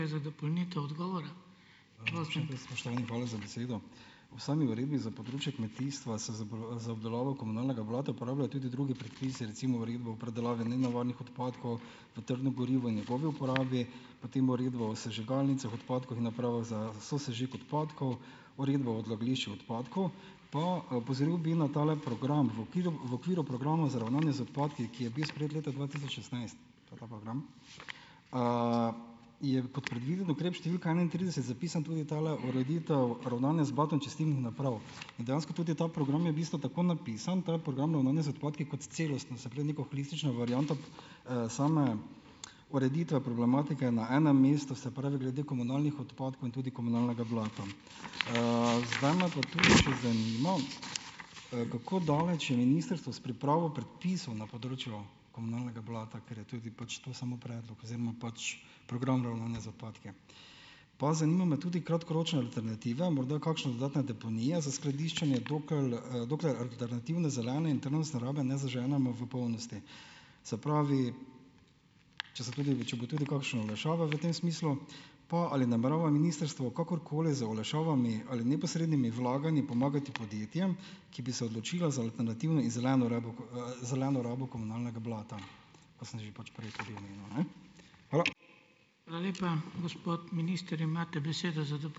Spoštovani, hvala za besedo. V sami uredbi za področje kmetijstva se za za obdelavo komunalnega blata uporabljajo tudi drugi predpisi, recimo uredba o predelavi nenevarnih odpadkov v trdno gorivo in njegovi uporabi, potem uredba o sežigalnicah odpadkov in napravah za sosežig odpadkov, uredba o odlagališču odpadkov, pa opozoril bi na tale program, v v okviru programa za ravnanje z odpadki, ki je bil sprejet leta dva tisoč šestnajst - to je ta program - je kot predviden ukrep številka enaintrideset zapisan tudi tale ureditev, ravnanje z blatom čistilnih naprav in dejansko tudi ta program je v bistvu tako napisan, to je program ravnanja z odpadki kot celostno, se pravi, neko holistično varianto, same ureditve problematike na enem mestu, se pravi, glede komunalnih odpadkov in tudi komunalnega blata. zdaj me pa tukaj še zanima, kako daleč je ministrstvo s pripravo predpisov na področju komunalnega blata, ker je tudi pač, to je samo predlog oziroma pač program ravnanja z odpadki. Pa zanimajo me tudi kratkoročne alternative, morda kakšne dodatne deponije za skladiščenje, dokler alternativne, zelene in trajnostne rabe ne zaženemo v polnosti. Se pravi, če se tudi če bo tudi kakšna olajšava v tem smislu? Pa ali namerava ministrstvo kakorkoli z olajšavami ali neposrednimi vlaganji pomagati podjetjem, ki bi se odločila za alternativne in zeleno rabo, zeleno rabo komunalnega blata, ko sem že pač prej ... Hvala.